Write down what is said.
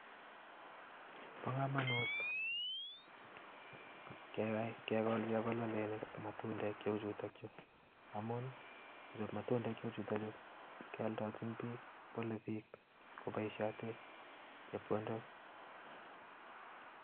Bo komonut kegol chebololinik ak matundek cheuchuton chuu amun matundek cheu chuton chuu keoldochin biik, boluu bik ak koboishioten chepkondok